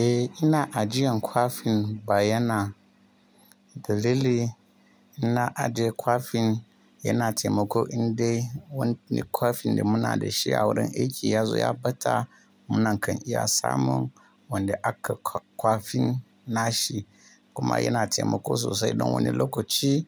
Eh, ina ajiyan kwafin ba yana dalili. Ina ajiye kwafin yana taimako indai wanne kwafin da muna da shi a wurin aiki ya zo ya ɓata, mu na kan iya samun wanda aka kwafin na shi. Kuma yana taimako sosai don wani lokaci